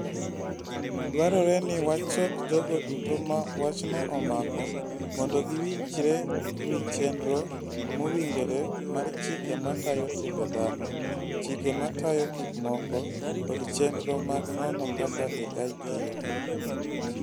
Dwarore ni wachok jogo duto ma wachno omako mondo giwinjre wi chenro mowinjore mar chike matayo timbe dhano, chike matayo gik moko, kod chenro mag nono kaka AI tiyo.